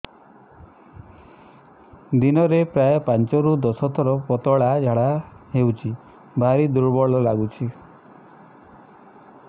ଦିନରେ ପ୍ରାୟ ପାଞ୍ଚରୁ ଦଶ ଥର ପତଳା ଝାଡା ହଉଚି ଭାରି ଦୁର୍ବଳ ଲାଗୁଚି